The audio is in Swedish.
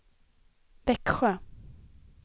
Växjö